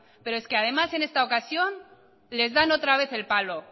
pero es que además en esta ocasión les dan otra vez el palo